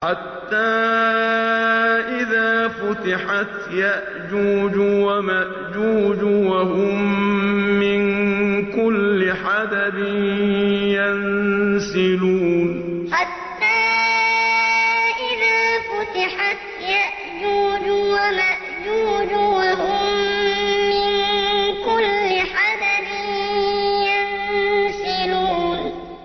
حَتَّىٰ إِذَا فُتِحَتْ يَأْجُوجُ وَمَأْجُوجُ وَهُم مِّن كُلِّ حَدَبٍ يَنسِلُونَ حَتَّىٰ إِذَا فُتِحَتْ يَأْجُوجُ وَمَأْجُوجُ وَهُم مِّن كُلِّ حَدَبٍ يَنسِلُونَ